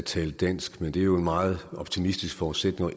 tale dansk men det er en meget optimistisk forudsætning